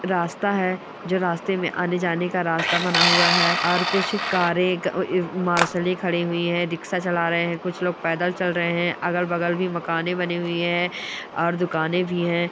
रास्ता है जो रास्ते में आने जाने का रास्ता बना हुआ है और कुछ कारे मार्शल खड़ी हुई है रिक्शा चला रहे है कुछ लोग पैदल चल रहे हैं अगल-बगल भी मकाने बनी हुई हैं और दुकाने भी हैं।